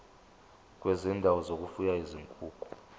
kwezindawo zokufuya izinkukhu